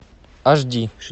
аш ди